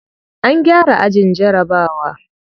An gyara ajin jarabawa.